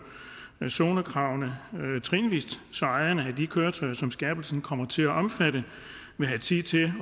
zonekravene trinvis så ejerne af de køretøjer som skærpelsen kommer til at omfatte vil have tid til